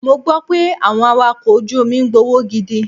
Mo gbọ́ pé àwọn Awakọ̀ ojú omi ń gbowó gidi.